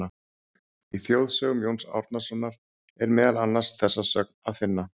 Í Þjóðsögum Jóns Árnasonar er meðal annars þessa sögn að finna: